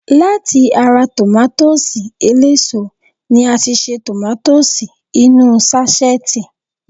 Láti ara tòmátósì eléso ni a ti ṣe tòmátósì inú ú sáṣẹ́ẹ̀tì